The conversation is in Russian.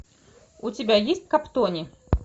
у тебя есть каптони